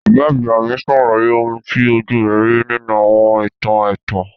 Bàbá àgbà mi sàlàyé oun ti ojú rẹ̀ ri nínú àwọn ìtàn ẹ̀tàn.